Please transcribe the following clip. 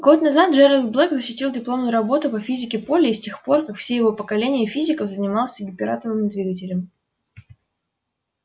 год назад джералд блэк защитил дипломную работу по физике поля и с тех пор как и все его поколение физиков занимался гиператомным двигателем